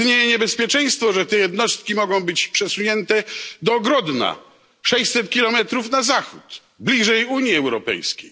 Istnieje niebezpieczeństwo, że te jednostki mogą być przesunięte do Grodna, 600 kilometrów na zachód, bliżej Unii Europejskiej.